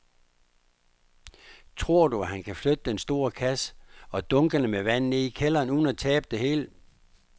Tror du, at han kan flytte den store kasse og dunkene med vand ned i kælderen uden at tabe det hele?